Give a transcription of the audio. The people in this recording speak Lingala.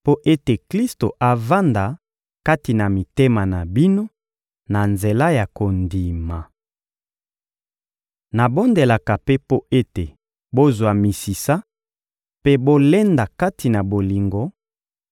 mpo ete Klisto avanda kati na mitema na bino na nzela ya kondima. Nabondelaka mpe mpo ete bozwa misisa mpe bolenda kati na bolingo,